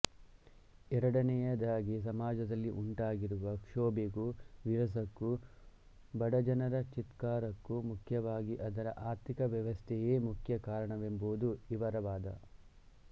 ಎರಡನೆಯದಾಗಿ ಸಮಾಜದಲ್ಲಿ ಉಂಟಾಗಿರುವ ಕ್ಷೋಭೆಗೂ ವಿರಸಕ್ಕೂ ಬಡಜನರ ಚೀತ್ಕಾರಕ್ಕೂ ಮುಖ್ಯವಾಗಿ ಅದರ ಆರ್ಥಿಕ ವ್ಯವಸ್ಥೆಯೆ ಮುಖ್ಯ ಕಾರಣವೆಂಬುದು ಇವರ ವಾದ